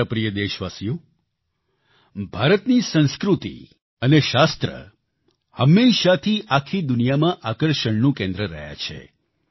મારા પ્રિય દેશવાસીઓ ભારતની સંસ્કૃતિ અને શાસ્ત્ર હંમેશાથી આખી દુનિયામાં આકર્ષણનું કેન્દ્ર રહ્યા છે